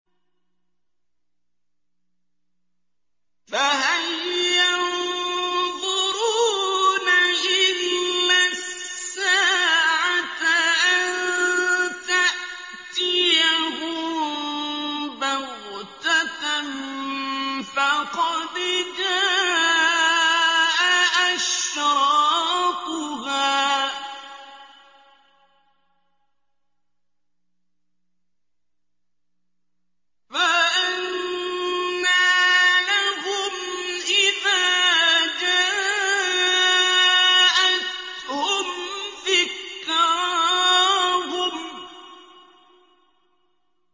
فَهَلْ يَنظُرُونَ إِلَّا السَّاعَةَ أَن تَأْتِيَهُم بَغْتَةً ۖ فَقَدْ جَاءَ أَشْرَاطُهَا ۚ فَأَنَّىٰ لَهُمْ إِذَا جَاءَتْهُمْ ذِكْرَاهُمْ